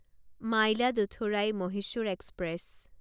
Mayiladuthurai Mysore express